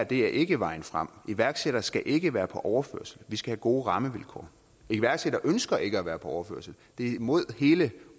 det her ikke er vejen frem iværksættere skal ikke være på overførsel vi skal have gode rammevilkår iværksættere ønsker ikke at være på overførsel det er mod hele